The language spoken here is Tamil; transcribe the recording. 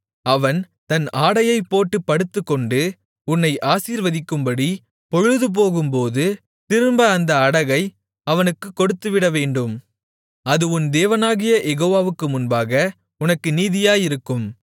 அவன் தன் ஆடையைப் போட்டுப் படுத்துக்கொண்டு உன்னை ஆசீர்வதிக்கும்படி பொழுதுபோகும்போது திரும்ப அந்த அடகை அவனுக்குக் கொடுத்துவிடவேண்டும் அது உன் தேவனாகிய யெகோவாவுக்கு முன்பாக உனக்கு நீதியாயிருக்கும்